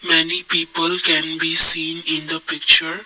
many people can be seen in the picture.